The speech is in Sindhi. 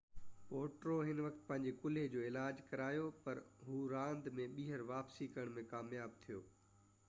پوٽرو ان وقت پنهنجي ڪلهي جو علاج ڪرايو پر هو راند ۾ ٻيهر واپسي ڪرڻ ۾ ڪامياب ٿيو